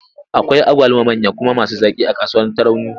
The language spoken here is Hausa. Akwai agwaluma manya kuma masu zaƙi a kasuwar Tarauni.